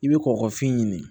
I bɛ kɔkɔfin ɲini